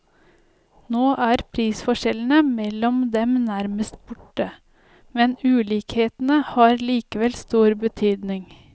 Nå er prisforskjellene mellom dem nærmest borte, men ulikhetene har likevel stor betydning.